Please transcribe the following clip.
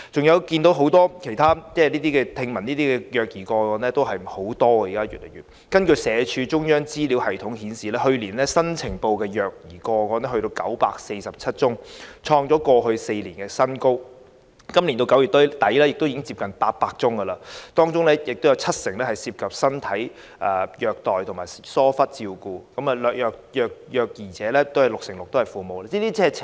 現時聽聞的虐兒個案有很多，社會福利署中央資料系統顯示，去年新呈報的虐兒個案高達947宗，創過去4年新高，截至今年9月底亦已有接近800宗，當中七成涉及身體虐待及疏忽照顧，而六成六的虐兒者是父母。